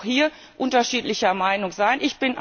Man darf auch hier unterschiedlicher Meinung sein.